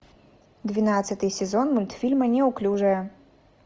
двенадцатый сезон мультфильма неуклюжая